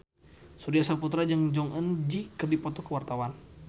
Surya Saputra jeung Jong Eun Ji keur dipoto ku wartawan